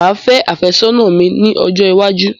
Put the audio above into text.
Máa fé afẹ́ sónà mi ní ọjọ́ iwájú